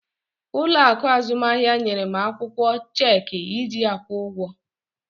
Ụlọ akụ azụmahịa nyere m akwụkwọ cheeki iji akwụ ụgwọ.